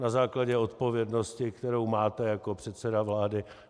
Na základě odpovědnosti, kterou máte jako předseda vlády.